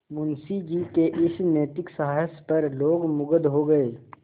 मुंशी जी के इस नैतिक साहस पर लोग मुगध हो गए